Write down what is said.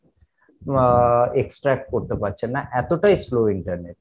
আহ extract করতে পারছেন না এতটাই slow internet